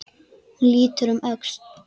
Hún lítur um öxl.